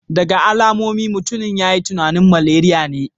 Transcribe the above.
Daga alamomin, mutumin ya yi tunanin maleriya ne